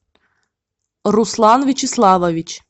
руслан вячеславович